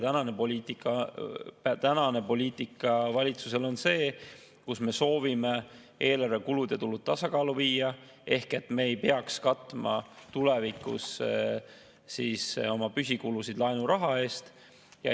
Tänane valitsuse poliitika on see, et me soovime eelarve kulud ja tulud tasakaalu viia, et me ei peaks tulevikus katma oma püsikulusid laenuraha eest.